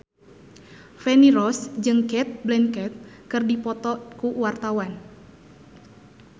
Feni Rose jeung Cate Blanchett keur dipoto ku wartawan